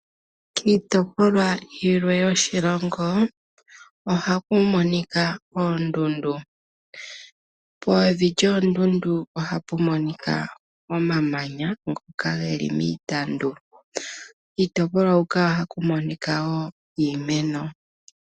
Iiitopolwa yilwe yoshilongo ohaku monika oondundu. Pevi lyoondundu ohapu monika omamanya ngoka geli miitandu. Kiitopolwa huka ohaku monika wo iimeno.